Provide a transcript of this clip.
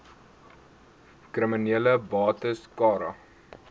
kriminele bates cara